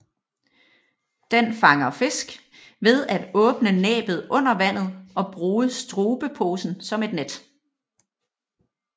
Den fanger fisk ved at åbne næbbet under vandet og bruge strubeposen som et net